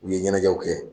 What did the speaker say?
U ye ɲɛnajɛw kɛ